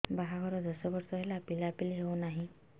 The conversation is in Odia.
ବାହାଘର ଦଶ ବର୍ଷ ହେଲା ପିଲାପିଲି ହଉନାହି